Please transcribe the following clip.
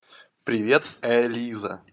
привет элиза